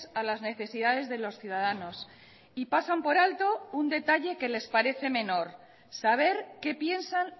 a las necesidades de los ciudadanos y pasan por alto un detalle que les parece menor saber qué piensan